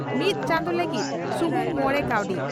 ᱢᱤᱛ ᱪᱟᱸᱫᱚ ᱞᱟᱹᱜᱤ ᱥᱩᱢᱩᱝ ᱢᱚᱲᱮ ᱠᱟᱣᱰᱤ